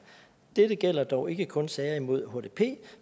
dette gælder dog ikke kun sager imod hdp